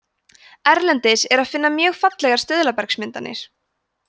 erlendis er að finna mjög fallegar stuðlabergsmyndanir